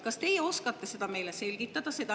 Kas teie oskate seda meile selgitada?